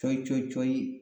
Cɔyi cɔyi cɔyi